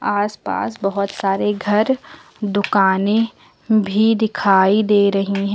आसपास बहुत सारे घर दुकानें भी दिखाई दे रही हैं।